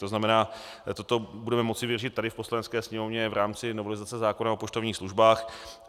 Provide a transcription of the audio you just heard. To znamená, toto budeme moci vyřešit tady v Poslanecké sněmovně v rámci novelizace zákona o poštovních službách.